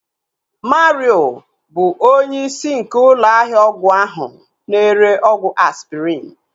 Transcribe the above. Mario bụ onye isi nke ụlọ ahịa ọgwụ ahu na-ere ọgwụ Aspirin